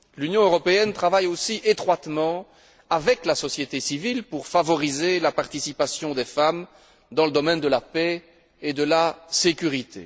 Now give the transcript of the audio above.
L'Union européenne travaille aussi étroitement avec la société civile pour favoriser la participation des femmes dans le domaine de la paix et de la sécurité.